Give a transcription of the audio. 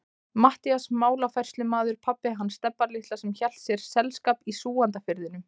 Matthías málafærslumaður, pabbi hans Stebba litla sem hélt þér selskap í Súgandafirðinum.